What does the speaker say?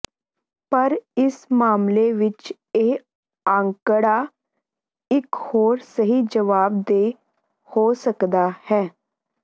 ਪਰ ਇਸ ਮਾਮਲੇ ਵਿਚ ਇਹ ਅੰਕੜਾ ਇੱਕ ਹੋਰ ਸਹੀ ਜਵਾਬ ਦੇਣ ਹੋ ਸਕਦਾ ਹੈ